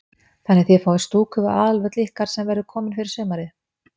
Þannig að þið fáið stúku við aðalvöll ykkar sem verður komin fyrir sumarið?